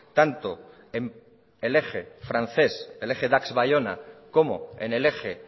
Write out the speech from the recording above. tanto en el eje francés el eje dax baiona como en el eje